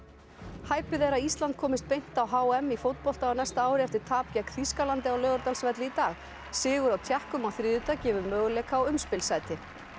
hæpið er að Ísland komist beint á h m í fótbolta á næsta ári eftir tap gegn Þýskalandi á Laugardalsvelli í dag sigur á Tékkum á þriðjudag gefur möguleika á umspilssæti